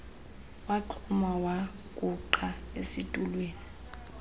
waxhuma wagungqa esitulweni